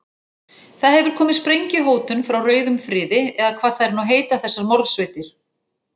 Það hefur komið sprengjuhótun frá rauðum friði, eða hvað þær nú heita þessar morðsveitir.